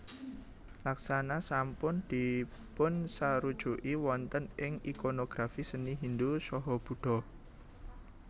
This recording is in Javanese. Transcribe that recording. Laksana sampun dipunsarujuki wonten ing ikonografi seni Hindu saha Buddha